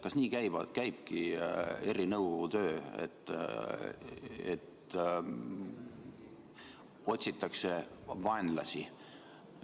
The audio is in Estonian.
Kas nii käibki ERR-i nõukogu töö, et otsitakse vaenlasi?